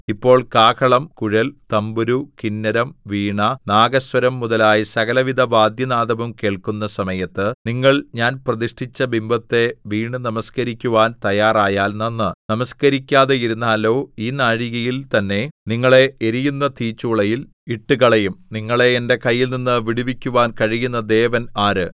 ഇപ്പോൾ കാഹളം കുഴൽ തംബുരു കിന്നരം വീണ നാഗസ്വരം മുതലായ സകലവിധ വാദ്യനാദവും കേൾക്കുന്ന സമയത്ത് നിങ്ങൾ ഞാൻ പ്രതിഷ്ഠിച്ച ബിംബത്തെ വീണു നമസ്കരിക്കുവാൻ തയ്യാറായാൽ നന്ന് നമസ്കരിക്കാതെയിരുന്നാലോ ഈ നാഴികയിൽ തന്നെ നിങ്ങളെ എരിയുന്ന തീച്ചൂളയിൽ ഇട്ടുകളയും നിങ്ങളെ എന്റെ കൈയിൽനിന്ന് വിടുവിക്കുവാൻ കഴിയുന്ന ദേവൻ ആര്